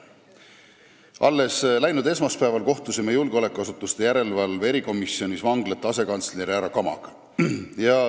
Alles läinud esmaspäeval kohtusime julgeolekuasutuste järelevalve erikomisjonis vanglate asekantsleri härra Kamaga.